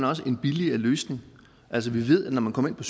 også en billigere løsning altså vi ved at når nogen kommer ind på